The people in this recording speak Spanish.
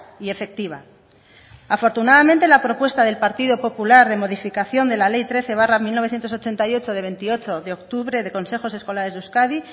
y efectiva afortunadamente la propuesta del partido popular de modificación de la ley trece barra mil novecientos ochenta y ocho de veintiocho de octubre de consejos escolares de euskadi